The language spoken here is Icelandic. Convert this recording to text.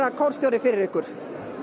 kórstjóra fyrir ykkur